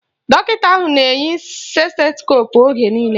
Dọkịta ahụ na-eyi stetoskoopu oge niile